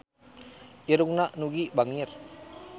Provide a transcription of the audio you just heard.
Irungna Nugie bangir